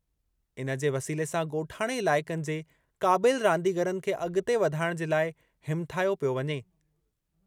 इन जे वसीले सां ॻोठाणे इलाइक़नि जे क़ाबिल रांदीगरनि खे अॻिते वधाइणु जे लाइ हिमाथायो पियो वञे।